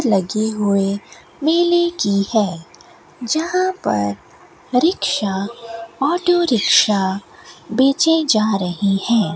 लगी हुए मेले की है जहां पर रिक्शा ऑटो रिक्शा बेचे जा रहे हैं।